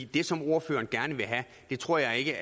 det som ordføreren gerne vil have tror jeg